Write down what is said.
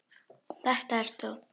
Þetta ert þú!